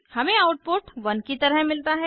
हमें आउटपुट 1 की तरह मिलता है